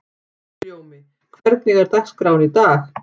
Himinljómi, hvernig er dagskráin í dag?